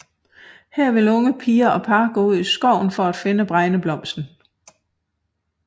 Her vil unge piger og par gå ud i skoven for at finde bregneblomsten